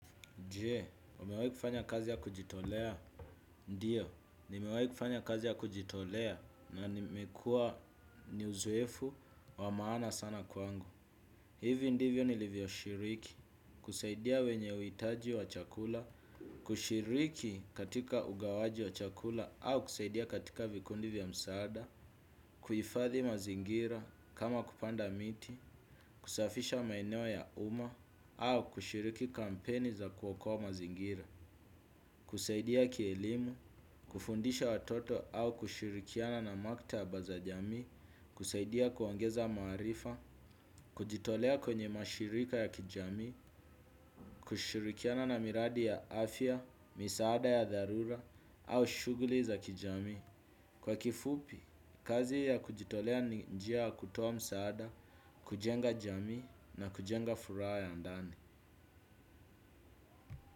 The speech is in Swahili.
Je, umewahi kufanya kazi ya kujitolea? Ndio, nimewahi kufanya kazi ya kujitolea na nimekuwa ni uzoefu wa maana sana kwangu. Hivi ndivyo nilivyoshiriki, kusaidia wenye uhitaji wa chakula, kushiriki katika ugawaji wa chakula au kusaidia katika vikundi vya msaada, kuhifadhi mazingira kama kupanda miti, kusafisha maeneo ya umma au kushiriki kampeni za kuokoa mazingira. Kusaidia kielimu, kufundisha watoto au kushirikiana na maktaba za jamii, kusaidia kuongeza maarifa, kujitolea kwenye mashirika ya kijamii, kushirikiana na miradi ya afya, misaada ya dharura au shughuli za kijamii. Kwa kifupi, kazi ya kujitolea ni njia ya kutoa msaada, kujenga jamii na kujenga furaha ya ndani.